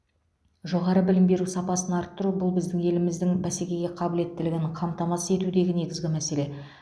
жоғары білім беру сапасын арттыру бұл біздің еліміздің бәсекеге қабілеттілігін қамтамасыз етудегі негізгі мәселе